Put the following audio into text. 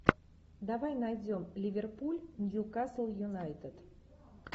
давай найдем ливерпуль ньюкасл юнайтед